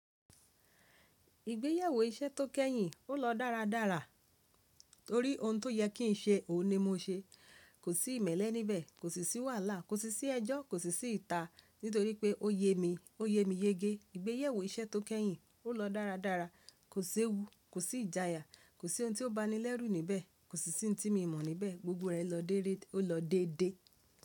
Ìgbéyewó iṣẹ́ tó kẹ́yìn, ó lọ dára dára torí ohun tó yẹ kí n ṣe, òun ni mo ṣe. Kò sí ìmẹ́lẹ́ ní bẹ̀, kòsí sì wàhálà, kòsí sì ẹjọ́, kòsí sì ìta nítorí pé óyẹ mi yeke. Kò sí ìmẹ́lẹ́ níbẹ̀, kò sì sí wàhálà, kò sì sí ẹjọ́, kò sì sí ìta, nítorí pé ó yẹ mi, ó yẹ mi yege. Kò sí ewu, kò sí ìjayà, kò sí ohun tó banilẹ́rú níbẹ̀, kò sì sí tí mo mọ̀ níbẹ̀. Gbogbo rẹ̀ lọ déré, ó lọ dédé.